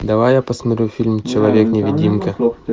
давай я посмотрю фильм человек невидимка